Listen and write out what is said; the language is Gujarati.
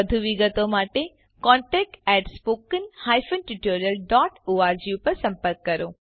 વધુ વિગત માટે કૃપા કરી contact at spoken hyphen tutorial dot org પર સંપર્ક કરો